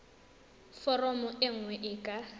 foromo e nngwe e ka